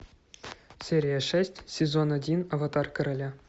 серия шесть сезон один аватар короля